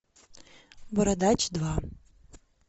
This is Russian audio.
бородач два